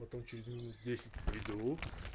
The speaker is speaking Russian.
потом через минут десять приду